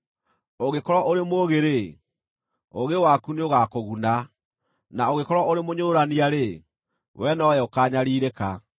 Ũngĩkorwo ũrĩ mũũgĩ-rĩ, ũũgĩ waku nĩũgakũguna; na ũngĩkorwo ũrĩ mũnyũrũrania-rĩ, we nowe ũkaanyariirĩka.”